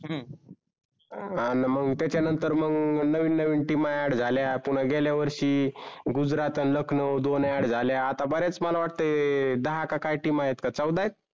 अन मग त्याच्या नंतर मग नवीन नवीन team aad झाल्या पुन्हा गेल्या वर्षी गुजरात अन लखनौ दोन aad झाल्या आता बऱ्याच मला वाटते दहा का team आहेत का चौदा आहेत?